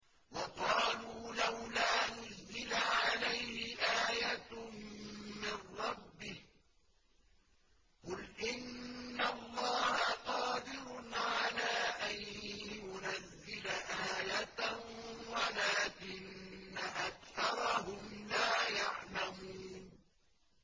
وَقَالُوا لَوْلَا نُزِّلَ عَلَيْهِ آيَةٌ مِّن رَّبِّهِ ۚ قُلْ إِنَّ اللَّهَ قَادِرٌ عَلَىٰ أَن يُنَزِّلَ آيَةً وَلَٰكِنَّ أَكْثَرَهُمْ لَا يَعْلَمُونَ